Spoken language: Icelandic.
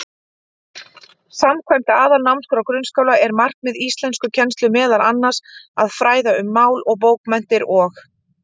Samkvæmt Aðalnámskrá grunnskóla er markmið íslenskukennslu meðal annars að fræða um mál og bókmenntir og.